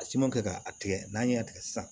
A siman kɛ k'a tigɛ n'an y'a tigɛ san